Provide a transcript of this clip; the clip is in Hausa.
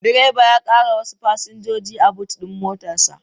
Direban ya ƙara wasu fasinjoji a bot din motar sa